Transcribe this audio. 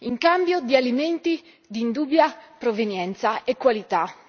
in cambio di alimenti di dubbia provenienza e qualità!